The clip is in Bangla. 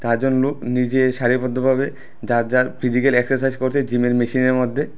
চারজন লোক নিজে সাড়ি বদ্ধ ভাবে যার যার ফিজিক্যাল এক্সারসাইজ করছে জিমের মেশিনের মধ্যে।